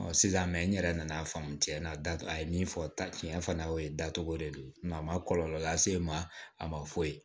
sisan mɛ n yɛrɛ nana faamuya a ye min fɔ ta tiɲɛ fana o ye dacogo de don a ma kɔlɔlɔ lase e ma a ma foyi